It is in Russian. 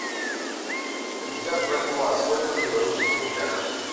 пятьдесят бальбоа сколько в белорусских рублях